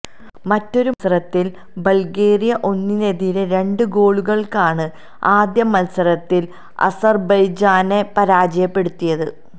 മറ്റൊരു മത്സരത്തില് ബള്ഗേറിയ ഒന്നിനെതിരെ രണ്ട് ഗോളുകള്ക്കാണ് ആദ്യ മത്സരത്തില് അസര്ബെയ്ജാനെ പരാജയപ്പെടുത്തിയത്